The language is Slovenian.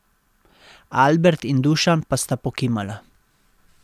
Albert in Dušan pa sta pokimala.